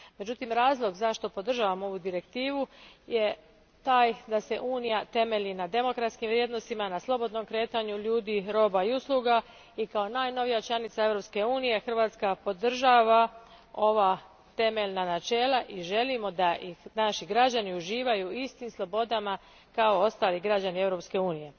Međutim, razlog zašto podržavam ovu direktivu je taj da se Unija temelji na demokratskim vrijednostima, na slobodnom kretanju ljudi, roba i usluga te kao najnovija članica Europske unije, Hrvatska podržava ova temeljna načela i želimo da naši građani uživaju u istim slobodama kao ostali građani Europske unije.